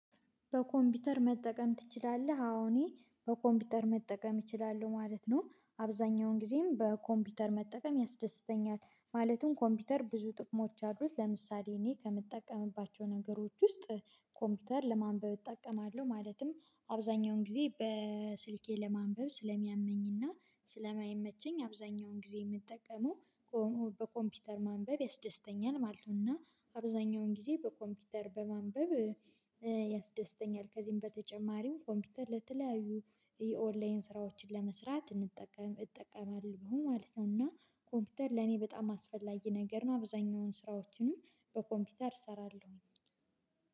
በኮምፒውተር መጠቀም ትችላለህ አዎ እኔ በኮምፒውተር መጠቀም እችላለሁ ማለት ነው። አብዛኛውን ጊዜም በኮምፒውተር መጠቀም ያስደስተኛል። ማለትም ኮምፒውተር ብዙ ጥቅሞች አድርሉት ለምሳሌ እኔ ከምጠቀምባቸው ነገሮች ውስጥ። ኮምፒውተር ለማንበብ እጠቀማለሁ ማለትም አብዛኛውን ጊዜ በስልኬ ለማንበብ ስለሚያመኝና ስለማይመቸኝ አብዛኛውን ጊዜ የምጠቀመው በኮምፒውተር ማንበብ ያስደስተኛል ማለት ነው። እና አብዛኛውን ጊዜ በኮምፒውተር በማንበብ። ያስደስተኛል ከዚህም በተጨማሪም ኮምፒውተር ለተለያዩ የኦንላይን ስራዎችን ለመስራት እንጠቀም እጠቀማለሁ ማለት ነው። እና ኮምፒውተር ለኔ በጣም አስፈላጊ ነገር ነው። አብዛኛውን ስራዎችንም በኮምፒውተር እሰራለሁኝ።